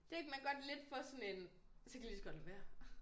Det man godt lidt få sådan en så kan jeg lige så godt lade være